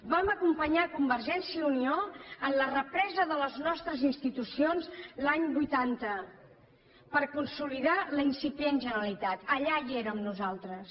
vam acompanyar convergència i unió en la represa de les nostres institucions l’any vuitanta per consolidar la incipient generalitat allà hi érem nosaltres